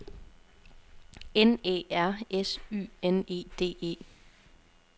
N Æ R S Y N E D E